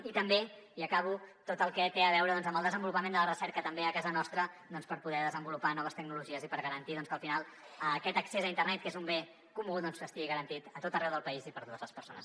i també i acabo tot el que té a veure amb el desenvolupament de la recerca també a casa nostra per poder desenvolupar noves tecnologies i per garantir que al final aquest accés a internet que és un bé comú doncs estigui garantit a tot arreu del país i per a totes les persones